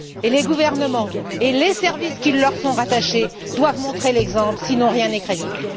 Les gouvernements et les services qui leur sont rattachés doivent montrer l'exemple sinon rien n'est crédible.